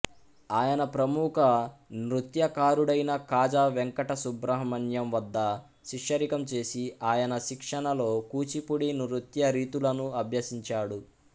ఆయన ప్రముఖ నృత్యకారుడైన కాజా వెంకట సుబ్రహ్మణ్యం వద్ద శిష్యరికం చేసి ఆయన శిక్షణలో కూచిపూడి నృత్యరీతులను అభ్యసించాడు